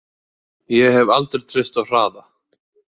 Ég hef aldrei treysta á hraða.